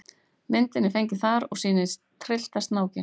Myndin er fengin þar og sýnir tryllta snákinn.